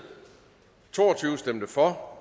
for